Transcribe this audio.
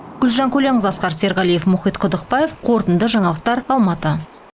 гүлжан көленқызы асқар серғалиев мұхит қудықбаев қорытынды жаңалықтар алматы